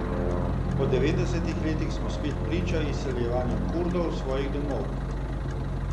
Po devetdesetih letih smo spet priča izseljevanju Kurdov s svojih domov.